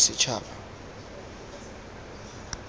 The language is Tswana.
bosetšhaba